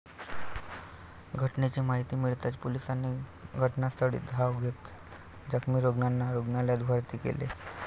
घटनेची माहिती मिळताच पोलिसांनी घटनास्थळी धाव घेत जखमी रुग्णांना रुग्णालयात भरती केले.